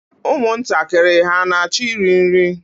Ụmụntakịrị hà na-achọ iri nri?